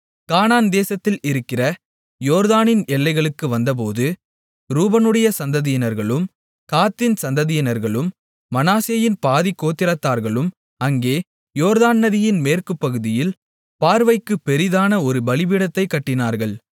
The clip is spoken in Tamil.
கானான் தேசத்தில் இருக்கிற யோர்தானின் எல்லைகளுக்கு வந்தபோது ரூபனுடைய சந்ததியினர்களும் காத்தின் சந்ததியினர்களும் மனாசேயின் பாதிக் கோத்திரத்தார்களும் அங்கே யோர்தான் நதியின் மேற்கு பகுதியில் பார்வைக்குப் பெரிதான ஒரு பலிபீடத்தைக் கட்டினார்கள்